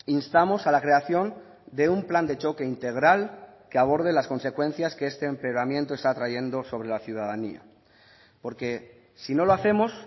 instamos a la creación de un plan de choque integral que aborde las consecuencias que este empeoramiento está trayendo sobre la ciudadanía porque si no lo hacemos